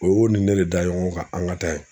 O y'o ni ne de da ɲɔgɔn kan an ka taa yen